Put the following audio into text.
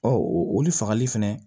oli fagali fɛnɛ